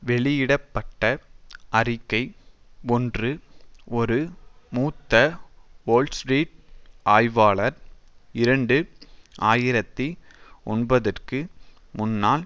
வெளியிட பட்ட அறிக்கை ஒன்று ஒரு மூத்த வோல்ஸ்ட்ரீட் ஆய்வாளர் இரண்டு ஆயிரத்தி ஒன்பதுக்கு முன்னால்